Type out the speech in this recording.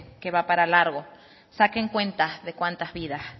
que va para largo saquen cuentas de cuántas vidas